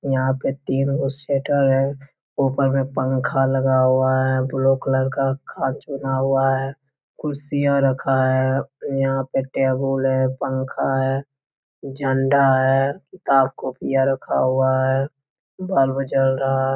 यहाँ पे तीन गो शटर है। ऊपर में पंखा लगा हुआ है। ब्लू कलर का खाचा बना हुआ है। कुर्सियाँ रखा है यहाँ पे टेबल है पंखा है झंडा है किताब-कॉपीयाँ रखा हुआ है बल्ब जल रहा --